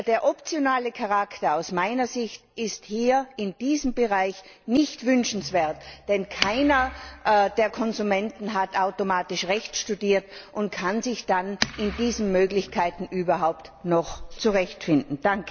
Der optionale Charakter ist aus meiner Sicht hier in diesem Bereich nicht wünschenswert, denn keiner der Konsumenten hat automatisch Recht studiert und kann sich dann in diesen Möglichkeiten überhaupt noch zurechtfinden.